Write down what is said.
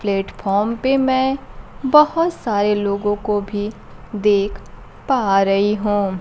Platform पर मैं बहोत सारे लोगों को भी देख पा रही हूं।